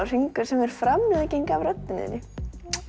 hringur sem er framlenging af röddinni